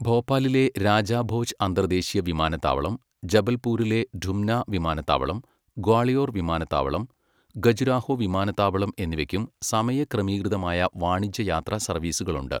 ഭോപ്പാലിലെ രാജാ ഭോജ് അന്തർദ്ദേശീയ വിമാനത്താവളം, ജബൽപൂരിലെ ഡുംന വിമാനത്താവളം, ഗ്വാളിയോർ വിമാനത്താവളം, ഖജുരാഹോ വിമാനത്താവളം എന്നിവയ്ക്കും സമയക്രമീകൃതമായ വാണിജ്യ യാത്രാ സർവീസുകൾ ഉണ്ട്.